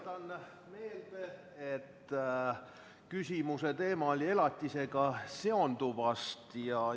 Tuletan meelde, et küsimuse teema oli "Elatisega seonduv".